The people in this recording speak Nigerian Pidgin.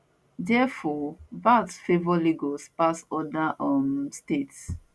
therefore vat favour lagos pass oda um states